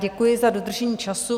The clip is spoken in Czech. Děkuji za dodržení času.